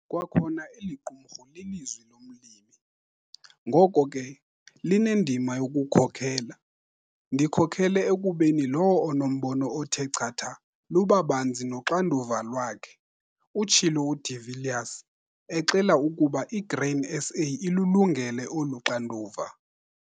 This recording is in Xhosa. Kwakhona eli qumrhu lilizwi lomlimi, ngoko ke, linendima yokukhokela. "Ndikhokhele ekubeni lowo onombono othe chatha, luba banzi noxanduva lwakhe," utshilo uDe Villiers, exela ukuba iGrain SA ilulungele olu xanduva.